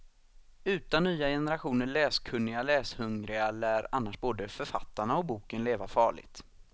Utan nya generationer läskunniga, läshungriga lär annars både författarna och boken leva farligt.